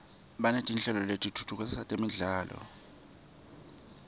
banetinhlelo letifundzisa temfundvo